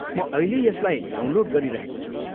म अहिल्यै यसलाई डाउनलोड गरिरहेको छु।